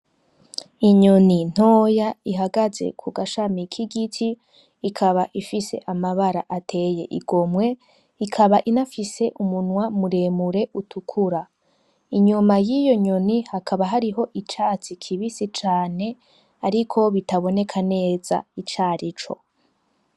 Inyoni ntoya ihagaze kugashami kigiti ikaba ifise amabara ateye igomwe ikaba inafise umunwa muremure utukura. Inyuma yiyo nyoni hakaba hariho icatsi kibisi cane ariko bitaboneka neza icarico.